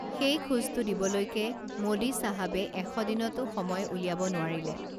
সেই খোজটো দিবলৈকে মোদী চাহাবে এশ দিনতো সময় উলিয়াব নোৱাৰিলে